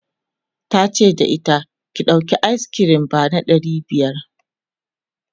tace da ita," ki ɗauki ayis kirim ba ɗari biyar!'